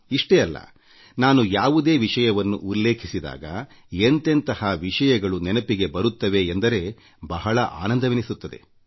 ಇಷ್ಟೇ ಅಲ್ಲನಾನು ಯಾವುದೇ ವಿಷಯವನ್ನು ಉಲ್ಲೇಖಿಸಿದಾಗ ಎಂತೆಂತಹ ವಿಷಯಗಳು ನೆನಪಿಗೆ ಬರುತ್ತವೆ ಎಂದರೆ ಬಹಳ ಆನಂದವೆನಿಸುತ್ತದೆ